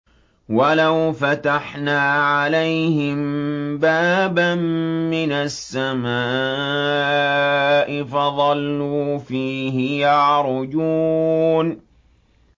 وَلَوْ فَتَحْنَا عَلَيْهِم بَابًا مِّنَ السَّمَاءِ فَظَلُّوا فِيهِ يَعْرُجُونَ